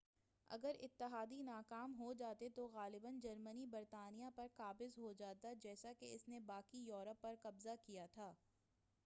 اگر اتحادی ناکام ہو جاتے تو غالباً جرمنی برطانیہ پر قابض ہو جاتا جیسا کہ اس نے باقی یورپ پر قبضہ کیا تھا